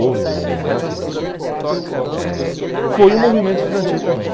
Houve mudanças, acho que... Eh foi um movimento estudantil também.